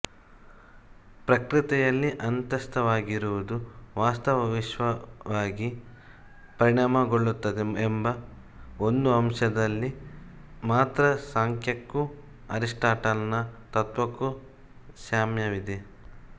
ಪ್ರಕೃತಿಯಲ್ಲಿ ಅಂತಸ್ಥವಾಗಿರುವುದು ವಾಸ್ತವ ವಿಶ್ವವಾಗಿ ಪರಿಣಾಮಗೊಳ್ಳುತ್ತದೆ ಎಂಬ ಒಂದು ಅಂಶದಲ್ಲಿ ಮಾತ್ರ ಸಾಂಖ್ಯಕ್ಕೂ ಅರಿಸ್ಟಾಟಲನ ತತ್ತ್ವಕ್ಕೂ ಸಾಮ್ಯವಿದೆ